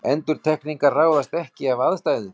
Endurtekningar ráðast ekki af aðstæðum.